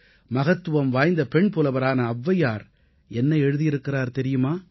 மகத்துவம் வாய்ந்த பெண்புலவரான ஔவையார் என்ன எழுதி இருக்கிறார் தெரியுமா